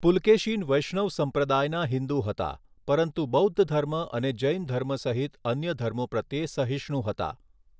પુલકેશિન વૈષ્ણવ સંપ્રદાયના હિંદુ હતા પરંતુ બૌદ્ધ ધર્મ અને જૈન ધર્મ સહિત અન્ય ધર્મો પ્રત્યે સહિષ્ણુ હતા.